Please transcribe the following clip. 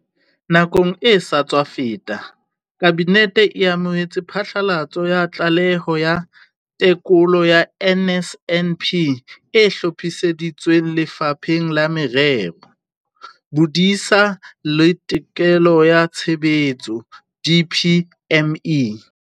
Nakong e sa tswa feta, Kabinete e amohetse phatlalatso ya Tlaleho ya Tekolo ya NSNP e hlophisitsweng ke Lefapha la Merero, Bodisa le Tekolo ya Tshebetso, DPME.